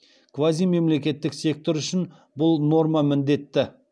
квазимемлекеттік сектор үшін бұл норма міндетті